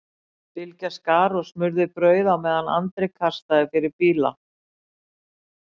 Bylgja skar og smurði brauð á meðan Andri kastaði fyrir bíla.